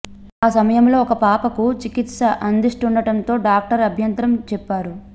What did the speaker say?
ఆ సమయంలో ఒక పాపకు చికిత్స అందిస్తుండటంతో డాక్టర్ అభ్యంతరం చెప్పారు